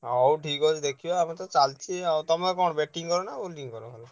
ହଉ ଠିକ୍ ଅଛି ଦେଖିବା ଆମର ତ ଚାଲଚି ଆଉ ତମେ କଣ batting କର ନା bowling କର?